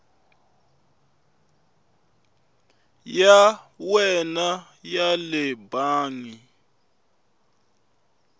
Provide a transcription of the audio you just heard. ya wena ya le bangi